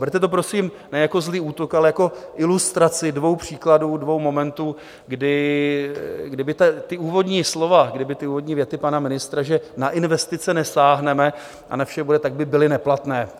Berte to, prosím, ne jako zlý útok, ale jako ilustraci dvou příkladů, dvou momentů, kdyby ta úvodní slova, kdyby ty úvodní věty pana ministra, že na investice nesáhneme a na vše bude, tak by byly neplatné.